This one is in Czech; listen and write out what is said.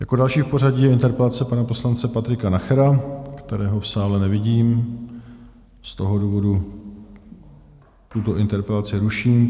Jako další v pořadí je interpelace pana poslance Patrika Nachera, kterého v sále nevidím, z toho důvodu tuto interpelaci ruším.